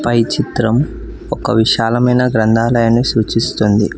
పై చిత్రం ఒక విశాలమైన గ్రంథాలయాన్ని సూచిస్తుంది.